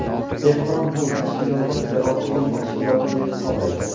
Tehron bu tashkilotni terrorchilik tashkiloti deb hisoblaydi.